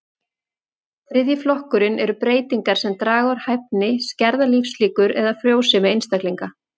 Þriðji flokkurinn eru breytingar sem draga úr hæfni, skerða lífslíkur eða frjósemi einstaklinga.